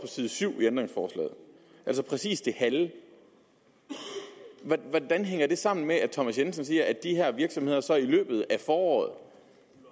side syv i ændringsforslaget altså præcis det halve hvordan hænger det sammen med at herre thomas jensen siger at de her virksomheder så i løbet af foråret